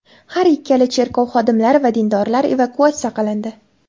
Har ikkala cherkov xodimlari va dindorlar evakuatsiya qilindi.